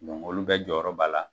olu bɛ jɔyɔrɔ b'a la.